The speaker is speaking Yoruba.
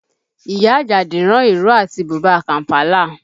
Ìyá Àjàdí rán ìró àti bùbá Kàm̀pálà